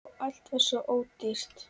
Og allt var svo ódýrt!